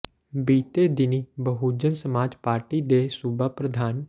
ਬੀਤੇ ਦਿਨੀਂ ਬਹੁਜਨ ਸਮਾਜ ਪਾਰਟੀ ਦੇ ਸੂਬਾ ਪ੍ਰਧਾਨ ਡਾ